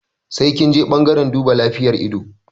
Sai kinje ɓangaren duba lafiyar ido